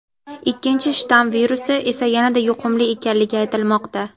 ikkinchi shtamm virusi esa yanada yuqumli ekanligi aytilmoqda.